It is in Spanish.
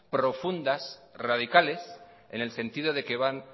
profundas radicales en el sentido de que van